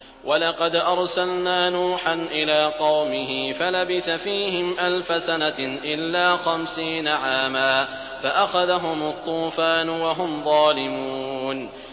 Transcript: وَلَقَدْ أَرْسَلْنَا نُوحًا إِلَىٰ قَوْمِهِ فَلَبِثَ فِيهِمْ أَلْفَ سَنَةٍ إِلَّا خَمْسِينَ عَامًا فَأَخَذَهُمُ الطُّوفَانُ وَهُمْ ظَالِمُونَ